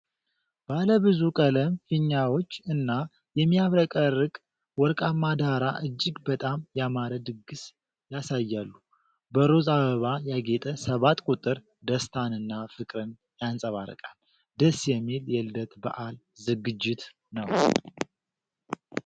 ባለብዙ ቀለም ፊኛዎች እና የሚያብረቀርቅ ወርቃማ ዳራ እጅግ በጣም ያማረ ድግስ ያሳያሉ። በሮዝ አበባ ያጌጠ ሰባት ቁጥር ደስታንና ፍቅርን ያንፀባርቃል። ደስ የሚል የልደት በዓል ዝግጅትነው።